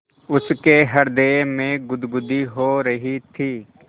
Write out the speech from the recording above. उसके हृदय में गुदगुदी हो रही थी